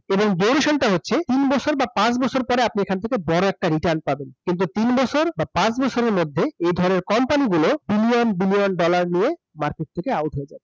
এবং হচ্ছে তিন বছর বা পাঁচ বছর আপনি এখান থেকে বড় একটা return পাবেন কিন্তু তিন বছর বা পাঁচ বছরের মধ্যে এ ধরনের company গুলো billion billion dollar নিয়ে market থেকে out হয়ে যাবে